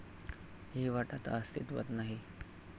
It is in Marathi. हि वाट आता अस्तित्वात नाही.